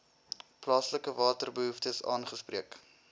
plaaslike waterbehoeftes aangespreek